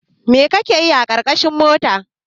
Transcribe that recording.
Mai kake yi a ƙarƙashin mota?